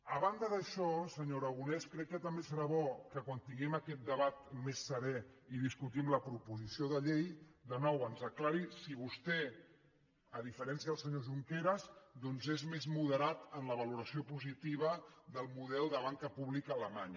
a banda d’això senyor aragonès crec que també serà bo que quan tinguem aquest debat més serè i discutim la proposició de llei de nou ens aclareixi si vostè a diferència del senyor junqueras doncs és més moderat en la valoració positiva del model de banca pública alemanya